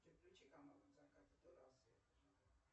включи канал от заката до рассвета